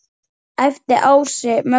æpti Ási Möggu.